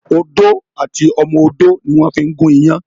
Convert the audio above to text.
Odó àti ọmọ odó ni wón fí ń gún iyán